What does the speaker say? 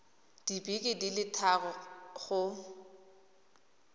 dibeke di le thataro go